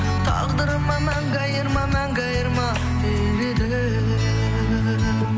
тағдырыма мәңгі айырма мәңгі айырма деп едім